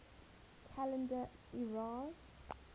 calendar eras